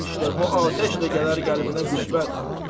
Al, işdə bu atəşlə gələr qəlbinə qüvvət.